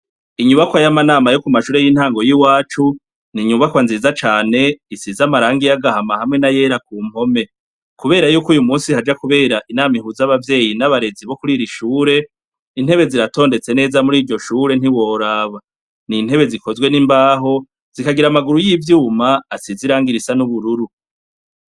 Inyubakwa y'amanama yo ku mashure y'intango y'iwacu, ni inyubakwa nziza cane, isize amarangi y'agahama hamwe n'ayera ku mpome. Kubera y'uko uyu munsi haja kubera inama ihuza abavyeyi n'abarezi bo kuri iri shure, intebe ziratondetse neza muri iryo shure ntiworaba. Ni intebe zikozwe n'imbaho, zikagira amaguru y'ivyuma asize irangi risa n'ubururu.